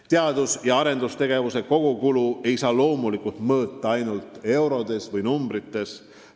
Teadus- ja arendustegevuse kogukulu ei saa loomulikult mõõta ainult arvudes.